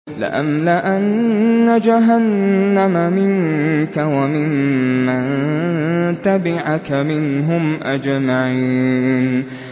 لَأَمْلَأَنَّ جَهَنَّمَ مِنكَ وَمِمَّن تَبِعَكَ مِنْهُمْ أَجْمَعِينَ